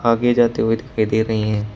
आगे जाते हुए दिखाई दे रही हैं।